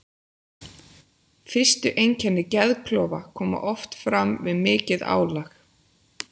Fyrstu einkenni geðklofa koma oft fram við mikið álag.